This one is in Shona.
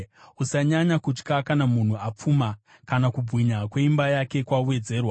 Usanyanya kutya kana munhu apfuma, kana kubwinya kweimba yake kwawedzerwa;